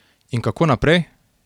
In kako naprej?